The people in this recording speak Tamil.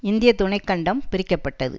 இந்திய துணை கண்டம் பிரிக்கப்பட்டது